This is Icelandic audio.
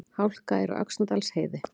Hálka er á Öxnadalsheiði